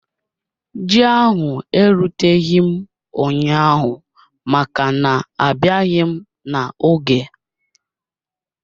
Ji ahụ eruteghị m ụnyaahụ maka na abịaghị m n'oge